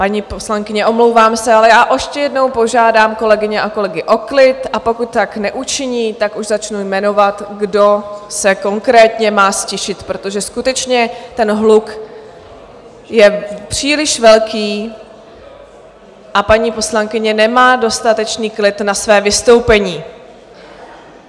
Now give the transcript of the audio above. Paní poslankyně, omlouvám se, ale já ještě jednou požádám kolegyně a kolegy o klid, a pokud tak neučiní, tak už začnu jmenovat, kdo se konkrétně má ztišit, protože skutečně ten hluk je příliš velký a paní poslankyně nemá dostatečný klid na své vystoupení.